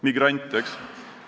Migrant, eks ole.